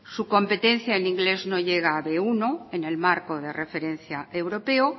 su competencia en inglés no llega a be uno en el marco de referencia europeo